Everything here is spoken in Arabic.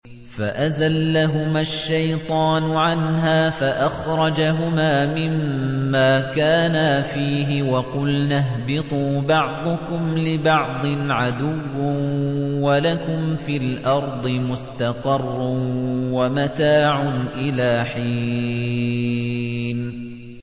فَأَزَلَّهُمَا الشَّيْطَانُ عَنْهَا فَأَخْرَجَهُمَا مِمَّا كَانَا فِيهِ ۖ وَقُلْنَا اهْبِطُوا بَعْضُكُمْ لِبَعْضٍ عَدُوٌّ ۖ وَلَكُمْ فِي الْأَرْضِ مُسْتَقَرٌّ وَمَتَاعٌ إِلَىٰ حِينٍ